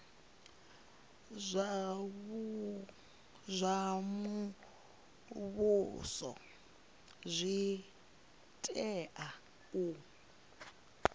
zwa muvhuso zwi tea u